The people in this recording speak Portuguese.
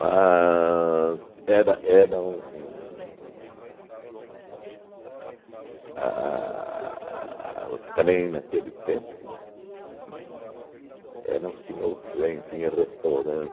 era era um um um a o trem naquele tempo hum, era um senhor trem, tinha